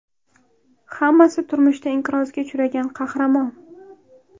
Hammasi turmushda inqirozga uchragan qahramon.